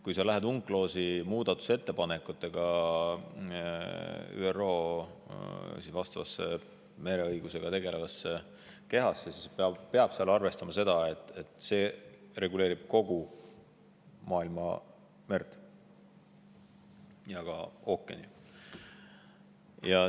Kui sa lähed UNCLOS-i muudatusettepanekutega ÜRO mereõigusega tegelevasse kehasse, siis peab arvestama seda, et see reguleerib kogu maailmamerd ja ka ookeani.